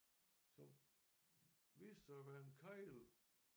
Som viste sig at være en kegle